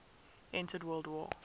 entered world war